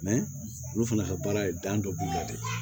olu fana ka baara ye dan dɔ b'u la dɛ